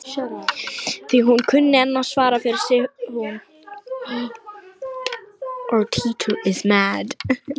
Því hún kunni enn að svara fyrir sig hún